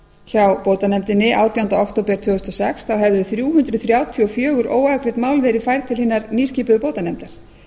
hjá bótanefndinni átjánda október tvö þúsund og sex þá hefði þrjú hundruð þrjátíu og fjögur óafgreidd mál verið færð til hinnar nýskipuðu bótanefndar